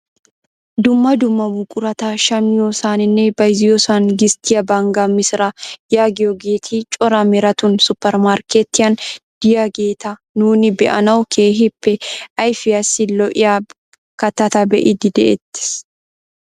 Dumma dumma buqurata shammiyoosaninne bayzziyoosan gisttiyaa banggaa misiraa yaagiyoogeti cora meratun supermarkketiyaan de'iyaageta nuuni be'anawu keehippe ayfiyaassi lo"iyaa kattata be'iidi de'ettees.